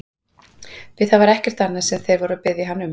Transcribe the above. Því það var ekkert annað sem þeir voru að biðja hann um!